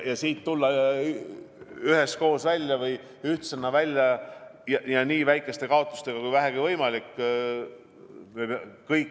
Meil tuleb tulla siit üheskoos ja ühtsena välja nii väikeste kaotustega kui vähegi võimalik.